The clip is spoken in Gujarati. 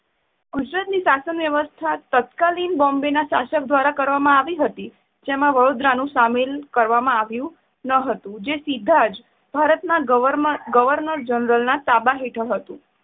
ગુજરાતની શાસન વ્યવસ્થા તત્કાલિન બોમ્બેના શાસક દ્વારા કરવામાં આવતી હતી. જેમાં વડોદરા સામેલ કરવામાં આવ્યુ ન હતું, જે સીધા જ ભારતના ગવર્નર~ગર્વનર જનરલના તાબા હેઠળ હતું.